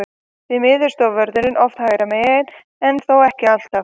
Því miður stóð vörðurinn oft hægra megin, en þó ekki alltaf.